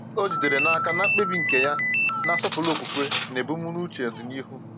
Ọ jidere n’aka na mkpebi nke ya na-asọpụrụ okwukwe na ebumnuche ọdịnihu.